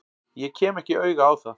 Ég kem ekki auga á það.